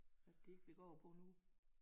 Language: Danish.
At det ikke ville gå over på en uge